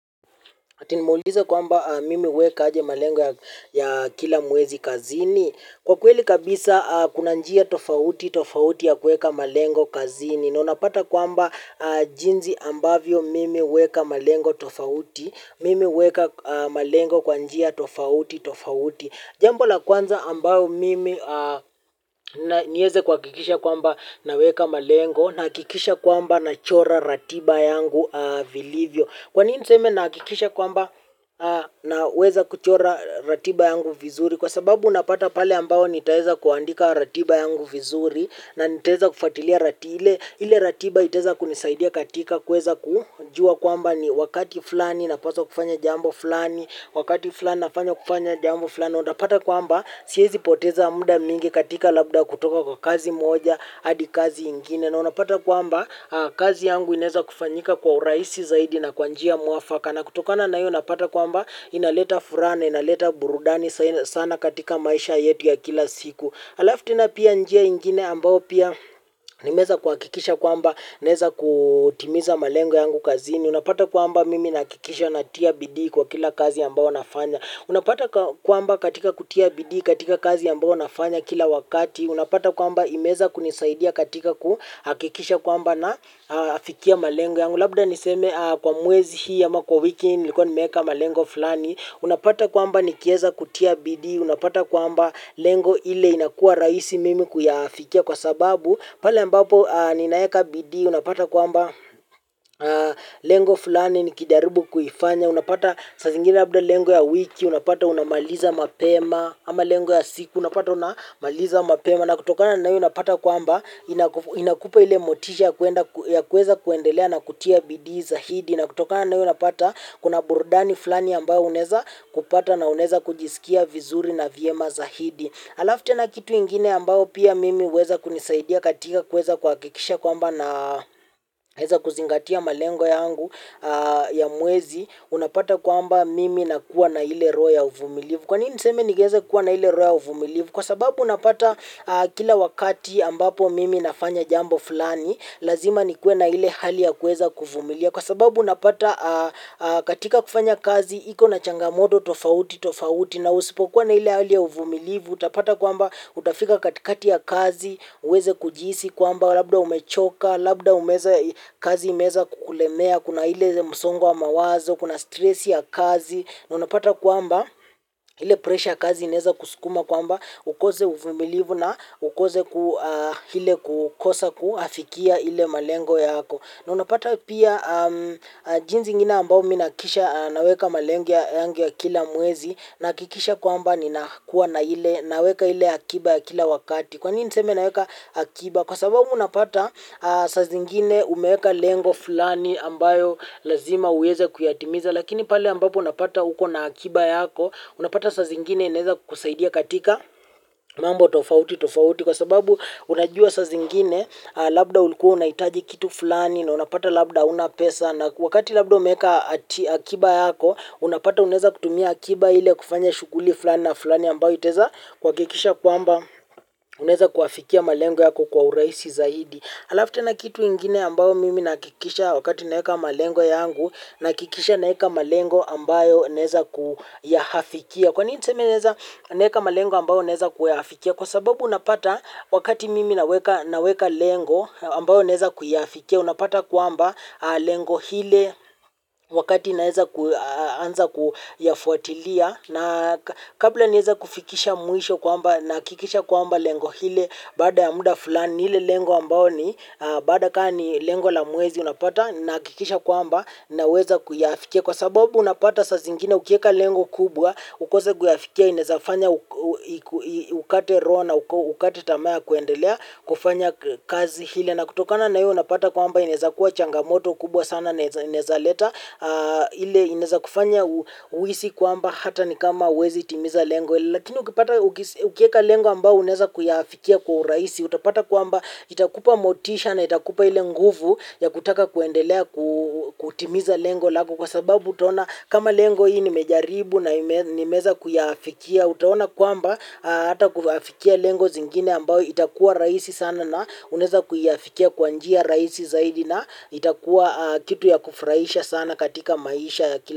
Ati nimeuliza kwamba mimi huweka aje malengo ya kila mwezi kazini? Kwa kweli kabisa kuna njia tofauti tofauti ya kuweka malengo kazini. Na unapata kwamba jinsi ambavyo mimi huweka malengo tofauti. Mimi huweka malengo kwa njia tofauti tofauti. Jambo la kwanza ambalo mimi niweze kuhakikisha kwamba naweka malengo nahakikisha kwamba nachora ratiba yangu vilivyo. Kwa nini niseme nahakikisha kwamba naweza kuchora ratiba yangu vizuri kwa sababu unapata pale ambapo nitaweza kuandika ratiba yangu vizuri na nitaweza kufatilia ile ratiba itaweza kunisaidia katika kuweza kujua kwamba ni wakati fulani napaswa kufanya jambo fulani, wakati fulani nafanya kufanya jambo fulani. Na unapata kwamba siwezi poteza muda mwingi katika labda kutoka kwa kazi moja hadi kazi ingine na unapata kwamba kazi yangu inaweza kufanyika kwa urahisi zaidi na kwa njia muafaka na kutokana na hiyo unapata kwamba inaleta furaha na inaleta burudani sana katika maisha yetu ya kila siku alafu tena pia njia ingine ambayo pia nimeweza kuhakikisha kwamba naweza kutimiza malengo yangu kazini unapata kwamba mimi nahakikisha natia bidii kwa kila kazi ambayo nafanya. Unapata kwamba katika kutia bidii katika kazi ambayo nafanya kila wakati, unapata kwamba imeweza kunisaidia katika kuhakikisha kwamba nafikia malengo yangu. Labda niseme kwa mwezi hii ama kwa wiki nilikuwa nimeweka malengo fulani. Unapata kwamba nikiweza kutia bidii unapata kwamba lengo ile inakuwa rahisi mimi kuyafikia kwa sababu. Pale mbapo ninaweka bidii unapata kwamba lengo fulani nikijaribu kufanya unapata saa zingine labda lengo ya wiki unapata unamaliza mapema ama lengo ya siku unapata unamaliza mapema na kutokana na hiyo unapata kwamba inakupa ile motisha ya kuweza kuendelea na kutia bidii zaidi. Na kutokana na hiyo unapata kuna burudani fulani ambayo unaweza kupata na unaweza kujisikia vizuri na vyema zaidi. Alafu tena kitu ingine ambayo pia mimi huweza kunisaidia katika kuweza kuhakikisha kwamba na naweza kuzingatia malengo yangu ya mwezi unapata kwamba mimi nakuwa na ile roho ya uvumilivu. Kwa nini niseme nigeze kuwa na ile roho ya uvumilivu kwa sababu napata kila wakati ambapo mimi nafanya jambo fulani lazima nikue na ile hali ya kuweza kuvumilia. Kwa sababu unapata katika kufanya kazi iko na changamoto tofauti tofauti na usipokuwa na ile hali ya uvumilivu utapata kwamba utafika katikati ya kazi uweze kujihisi kwamba labda umechoka labda umeweza kazi imeweza kukulemea kuna ile msongo wa mawazo kuna stress ya kazi na unapata kwamba ile presha ya kazi inaweza kusukuma kwamba ukose uvumilivu na ukose kile kukosa kuyafikia ile malengo yako. Na unapata pia jinsi ingine ambayo mimi nahakikisha naweka malengo yangu ya kila mwezi nahakikisha kwamba ninakuwa naweka ile akiba ya kila wakati. Kwa nini niseme naweka akiba? Kwa sababu unapata. Saa zingine umeweka lengo fulani ambayo lazima uweze kuyatimiza. Lakini pale ambapo unapata uko na akiba yako unapata saa zingine inaweza kukusaidia katika mambo tofauti tofauti kwa sababu unajua saa zingine labda ulikuwa unahitaji kitu fulani na unapata labda huna pesa na wakati labda umeweka akiba yako unapata unaweza kutumia akiba ile kufanya shughuli fulani na fulani ambayo itaweza kuhakikisha kwamba unaweza kuyafikia malengo yako kwa urahisi zaidi. Halafu tena kitu kingine ambayo mimi nahakikisha wakati naweka malengo yangu nahakikisha naweka malengo ambayo naweza kuyafikia. Kwa nini niseme naweza naweka malengo ambayo naweza kuyafikia kwa sababu unapata wakati mimi naweka lengo ambayo naweza kuyafikia unapata kwamba lengo lile wakati naweza kuanza kuyafuatilia. Na kabla niweze kufikisha mwisho kwamba nahakikisha kwamba lengo lile baada ya muda fulani lile lengo ambalo ni baada kama ni lengo la mwezi unapata nahakikisha kwamba naweza kuyafikia kwa sababu unapata saa zingine ukiweka lengo kubwa ukose kuyafikia inaweza fanya ukate roho na ukate tamaa ya kuendelea kufanya kazi ile na kutokana na hiyo unapata kwamba inaweza kuwa changamoto kubwa sana na inaweza leta ile inaweza kufanya uhisi kwamba hata ni kama huwezi timiza lengo lakini ukipata ukiweka lengo ambalo unaweza kuyafikia kwa urahisi utapata kwamba itakupa motisha na itakupa ile nguvu ya kutaka kuendelea kutimiza lengo lako kwa sababu utaona kama lengo hii nimejaribu na nimeweza kuyafikia utaona kwamba hata kuyafikia lengo zingine ambayo itakuwa rahisi sana na unaweza kuyafikia kwa njia rahisi zaidi na itakuwa kitu ya kufurahisha sana katika maisha ya kila.